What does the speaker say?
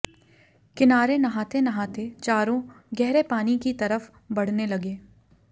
किनारे नहाते नहाते चारों गहरे पानी की तरफ बढ़ने लगे